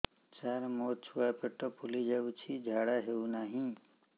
ସାର ମୋ ଛୁଆ ପେଟ ଫୁଲି ଯାଉଛି ଝାଡ଼ା ହେଉନାହିଁ